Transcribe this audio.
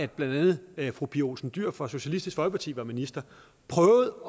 blandt andet fru pia olsen dyhr fra socialistisk folkeparti var minister prøvede